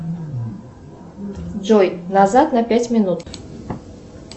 джой назад на пять минут